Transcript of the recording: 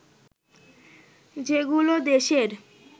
যেগুলো দেশের